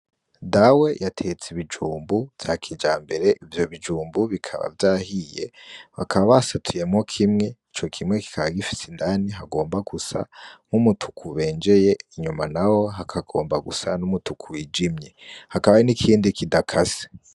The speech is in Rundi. Dawe yatetse ibijumbu vya kija mbere ivyo bijumbu bikaba vyahiye bakaba basatuyemwo kimwe ico kimwe kikaba gifise indani hagomba gusa nk'umutuku benjeye inyuma na wo hakagomba gusa n'umutuku wijimye hakaba n'ikindi kidakase.